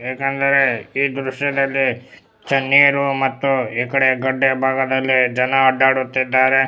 ಯಾಕಂದ್ರೆ ಈ ದ್ರಶ್ಯದಲ್ಲಿ ತಣ್ಣೀರು ಮತ್ತೆ ಈ ಕಡೆ ಗಡ್ದೆ ಭಾಗದಲ್ಲಿ ಜನ ಅಡ್ಡಾಡುತ್ತಿದ್ದರೆ.